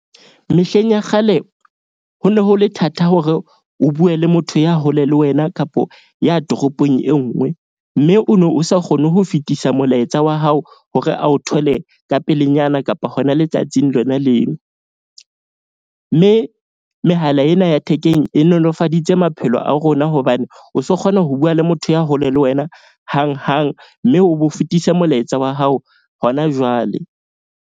Mehleng ya kgale ho ne ho le thata hore o bue le motho ya hole le wena kapo ya toropong e nngwe. Mme o no sa kgone ho fetisa molaetsa wa hao hore a o thole ka pelenyana kapa hona letsatsing lona leo. Mme mehala ena ya thekeng e nolofaditse maphelo a rona. Hobane o so kgona ho bua le motho ya hole le wena hanghang. Mme o bo fetise molaetsa wa hao hona jwale.